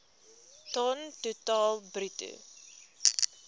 ton totaal bruto